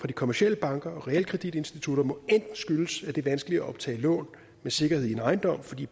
de kommercielle banker og realkreditinstitutter må enten skyldes at det er vanskeligt at optage lån med sikkerhed i en ejendom fordi